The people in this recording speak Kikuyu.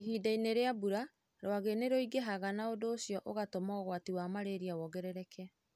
Ihinda-inĩ rĩa mbura, rwagĩ nĩ rũingĩhaga na ũndũ ũcio ũgatũma ũgwati wa malaria wongerereke.